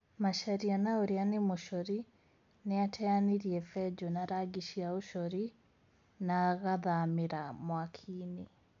Macharia na ũrĩa nĩ mũcori nĩateanĩirie benjũ na rangi cia ũcori na agathamĩra mwaki-inĩ